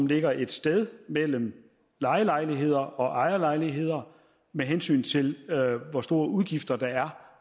ligger et sted mellem lejelejligheder og ejerlejligheder med hensyn til hvor store udgifter der er